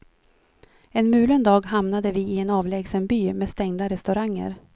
En mulen dag hamnade vi i en avlägsen by med stängda restauranger.